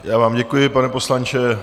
Já vám děkuji, pane poslanče.